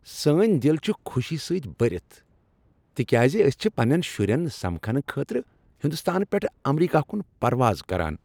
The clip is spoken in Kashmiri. سٲنۍ دل چھ خوشی سۭتۍ بٔرتھ تِکیازِ أسۍ چھ پننین شُرین سمکھنہ خٲطرٕ ہندوستان پیٹھ امریکہ کٗن پرواز کران۔